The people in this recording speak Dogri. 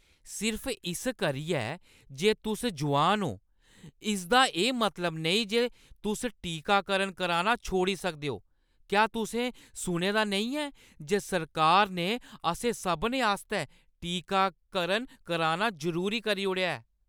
सिर्फ इस करियै जे तुस जोआन ओ, इसदा एह् मतलब नेईं जे तुस टीकाकरण कराना छोड़ी सकदे ओ। क्या तुसें सुनेआ नेईं ऐ जे सरकार ने असें सभनें आस्तै टीकाकरण कराना जरूरी करी ओड़ेआ ऐ?